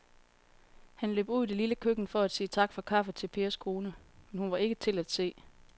Han løb ud i det lille køkken for at sige tak for kaffe til Pers kone, men hun var ikke til at se.